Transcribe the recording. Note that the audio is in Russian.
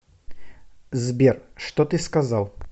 сбер что ты сказал